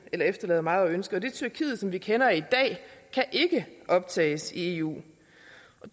efterlader meget at ønske det tyrkiet som vi kender i dag kan ikke optages i eu